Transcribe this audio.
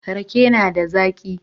Rake na da zaki